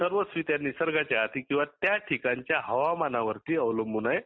र्स्वस्वरित्या निसर्गाच्या हाती किंवा त्या ठिकाणच्या हवामानवर अवलंबून आहे